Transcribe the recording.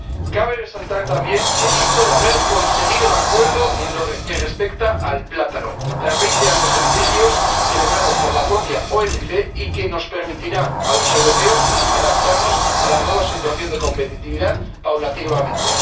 Cabe resaltar también el hito de haber conseguido un acuerdo en lo que respecta al plátano tras veinte años de litigios, celebrado por la propia OMC, y que nos permitirá a los europeos adaptarnos a la nueva situación de competitividad paulatinamente.